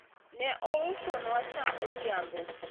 ne ousonwa sa odhiambo